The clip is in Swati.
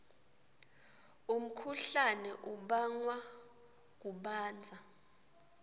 umkhuhlane ubangwa kubandza